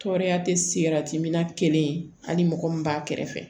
Tɔɔrɔya tɛ sira min na kelen hali mɔgɔ mun b'a kɛrɛfɛ